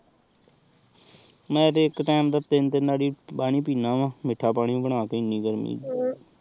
ਮੈ ਏਕ ਟੀਮੇ ਦਾ ਤੀਨ ਤੀਨ ਵਾਰ ਪਾਣੀ ਪੀਂਦਾ ਆਹ ਮੀਠਾ ਪਾਣੀ ਬਣਾ ਕ ਇੰਨੀ ਗਰਮੀ ਚ